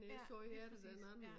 Ja lige præcis ja